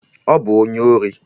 Ọ bụ onye ori!